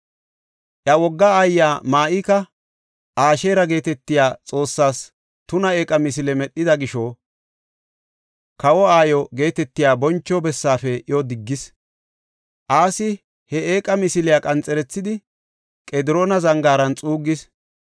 Iya wogga aayiya Ma7ika Asheera geetetiya xoossees tuna eeqa misile medhida gisho, kawo aayo geetetiya boncho bessaafe iyo diggis. Asi he eeqa misiliya qanxerethidi Qediroona Zangaaran xuuggis.